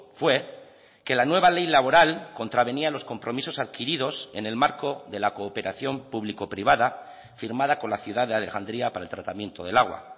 fue que la nueva ley laboral contravenía los compromisos adquiridos en el marco de la cooperación público privada firmada con la ciudad de alejandría para el tratamiento del agua